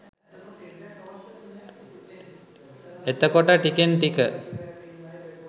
එතකොට ටිකෙන් ටික